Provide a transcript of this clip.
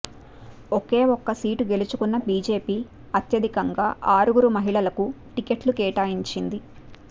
ఒకే ఒక్క సీటు గెలుచుకున్న బీజేపీ అత్య ధికంగా ఆరుగురు మహిళలకు టికెట్లు కేటాయిం చింది